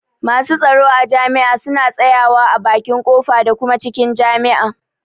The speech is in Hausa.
Masu tsaro a jami'a suna tsaya wa a bakin ƙofa da kuma cikin jami'a.